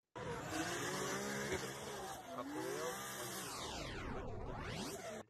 прямой эфир апл манчестер сити против ливерпуль